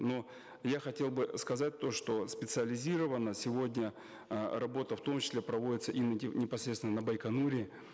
но я хотел бы сказать то что специализированно сегодня э работа в том числе проводится и непосредственно на байконуре